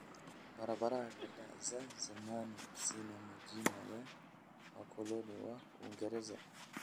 Barabara kadhaa za zamani zina majina ya wakoloni wa Uingereza.